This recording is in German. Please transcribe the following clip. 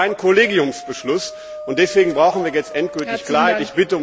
Aber es gibt keinen Kollegiumsbeschluss, und deswegen brauchen wir jetzt endgültig Klarheit.